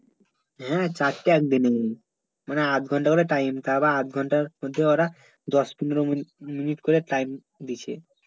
হ্যাঁ চারটে একদিনে মানে অর্ধ ঘন্টা করে time তা আবার অর্ধ ঘন্টা মধ্যে ওরা দশ পনেরো মি¬ মিনিট করে time দিছে